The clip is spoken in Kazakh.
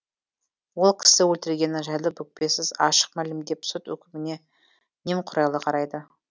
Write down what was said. ол кісі өлтіргені жайлы бүкпесіз ашық мәлімдеп сот үкіміне немқұрайлы қарайды